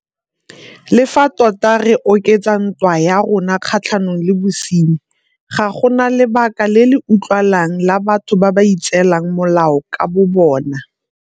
Le fa tota re oketsa ntwa ya rona kgatlhanong le bosenyi, ga go na lebaka le le utlwalang la batho ba ba itseelang molao ka bobona.